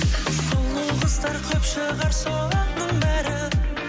сұлу қыздар көп шығар соның бәрі